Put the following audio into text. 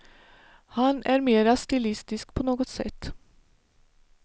Han är mera stilistisk på något sätt.